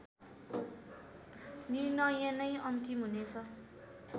निर्णय नै अन्तिम हुनेछ